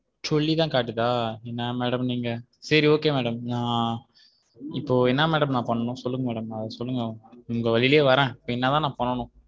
சொல்லிதான் காட்டுதா என்னா madam நீங்க சரி okay madam நா இப்போ என்னா madam நான் பண்ணனும் சொல்லுங்க madam அது சொல்லுங்க உங்க வழியிலே வரேன் இபோ என்னா தான் நான் பண்ணனும்.